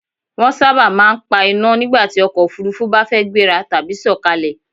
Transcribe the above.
Wọ́n sábà máa ń pa iná nígbàtí ọkọ̀ Òfurufú bá fẹ́ gbéra tàbí sọ̀kalẹ̀